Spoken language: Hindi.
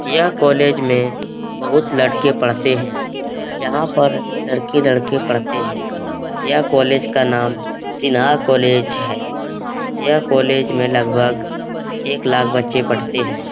यह कॉलेज में बहुत लड़के पढ़ते है यहां पर लड़की-लड़के पढ़ते है यह कॉलेज का नाम सिन्हा कॉलेज है यह कॉलेज में लगभग एक लाख बच्चे पढ़ते है।